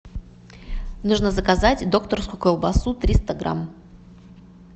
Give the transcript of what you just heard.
нужно заказать докторскую колбасу триста грамм